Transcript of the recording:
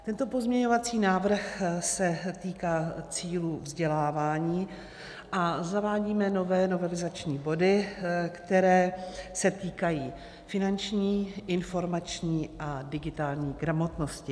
Tento pozměňovací návrh se týká cílů vzdělávání a zavádíme nové novelizační body, které se týkají finanční, informační a digitální gramotnosti.